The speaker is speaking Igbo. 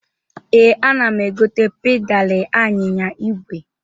Ee, ana m egote pedalị anyịnya igwe.